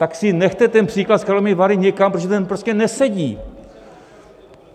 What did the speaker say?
Tak si nechte ten příklad s Karlovými Vary někam, protože ten prostě nesedí.